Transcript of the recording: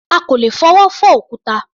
À kò lè fọwọ́ fọ́ òkúta.